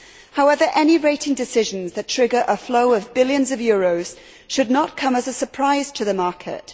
However, any rating decisions that trigger a flow of billions of euros should not come as a surprise to the market.